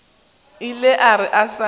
ile a re a sa